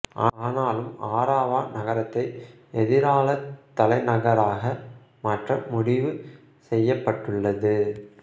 ஆனாலும் அராவா நகரத்தை எதிராலத் தலைநகராக மாற்ற முடிவு செய்யப்பட்டுள்ளது